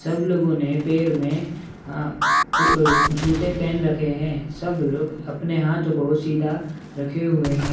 सब लोगों ने आ क पैर मे जूते पहन रखे है। सब लोग अपने हाथ को सीधा रखे हुए है।